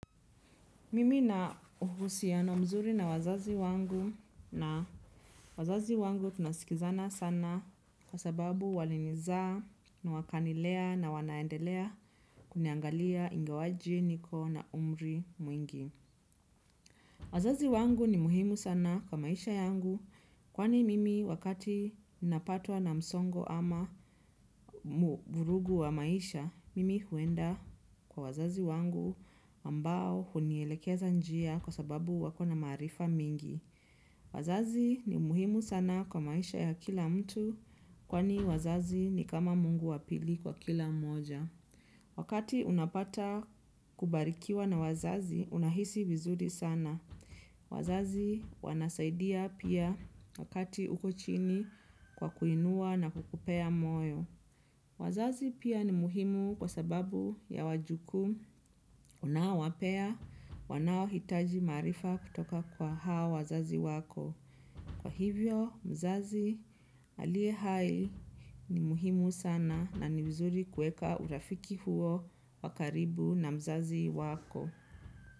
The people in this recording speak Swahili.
Mimi na uhusiano mzuri na wazazi wangu na wazazi wangu tunasikizana sana kwa sababu walinizaa na wakanilea na wanaendelea kuniangalia ingawaje niko na umri mwingi. Wazazi wangu ni muhimu sana kwa maisha yangu kwani mimi wakati napatwa na msongo ama vurugu wa maisha mimi huenda kwa wazazi wangu ambao hunielekeza njia kwa sababu wakona maarifa mingi. Wazazi ni muhimu sana kwa maisha ya kila mtu kwani wazazi ni kama mungu wapili kwa kila mmoja. Wakati unapata kubarikiwa na wazazi, unahisi vizuri sana. Wazazi wanasaidia pia wakati ukochini kwa kuinua na kukupea moyo. Wazazi pia ni muhimu kwa sababu ya wajukuu unaowapea, wanao hitaji maarifa kutoka kwa hao wazazi wako. Kwa hivyo mzazi aliye hai ni muhimu sana na ni mzuri kuweka urafiki huo wakaribu na mzazi wako.